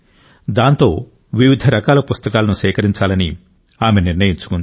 దాంతో వివిధ రకాల పుస్తకాలను సేకరించాలని ఆమె నిర్ణయించుకుంది